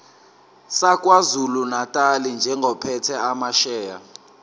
sakwazulunatali njengophethe amasheya